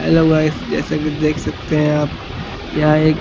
hello guys जैसा कि देख सकते हैं आप यहां एक--